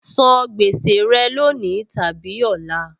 San gbèsè rẹ lónìí tàbí ọ̀la!